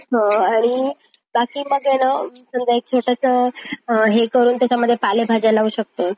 हं आणि बाकी म्हणजे न समजा छोटंसं हे करून त्याच्यामध्ये पालेभाज्या लावू शकतोय.